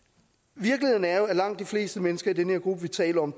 virkeligheden er jo at langt de fleste mennesker i den her gruppe vi taler om